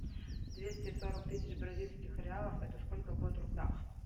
двести сорок тысяч бразильских реалов это сколько будет в рублях